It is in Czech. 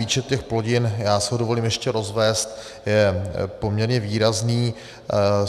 Výčet těch plodin, já si dovolím ho ještě rozvést, je poměrně výrazný.